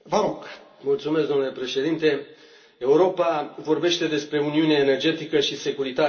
Domnule președinte, Europa vorbește despre uniune energetică și securitate energetică.